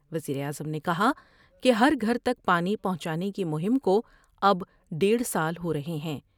وزیر اعظم نے کہا کہ ہر گھر تک پانی پہونچانے کی مہم کو اب ڈیڑھ سال ہورہے ہیں ۔